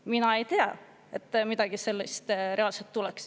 Mina ei tea, et midagi sellist reaalselt tuleks.